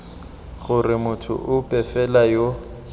gore motho ope fela yo